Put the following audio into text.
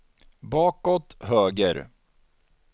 bakåt höger